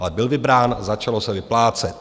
Ale byl vybrán, začalo se vyplácet.